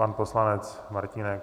Pan poslanec Martínek.